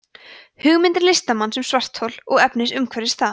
hugmynd listamanns um svarthol og efni umhverfis það